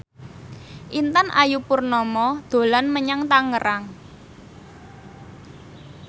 Intan Ayu Purnama dolan menyang Tangerang